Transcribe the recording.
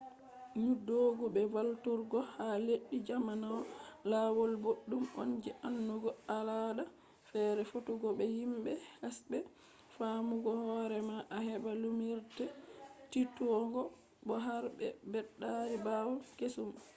njoodugo be valluturgo ha leddi jannano lawol boddum on je andugo al’aada feere fottugo be himbe hesbe faamugo hoore ma a heba lumnirde tiitugo bo har be beddaari bawde kesum